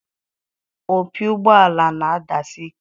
Opi ụgbọala na-adasi ike.